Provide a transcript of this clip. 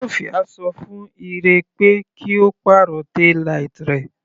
Sofia ṣọ fún Ire pé kí Ó pàrọ̀ taillight rẹ̀.